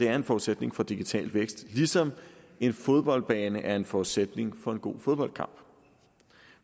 er en forudsætning for digital vækst ligesom en fodboldbane er en forudsætning for en god fodboldkamp